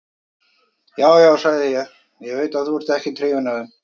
Já, já, sagði ég, ég veit að þú ert ekkert hrifinn af þeim.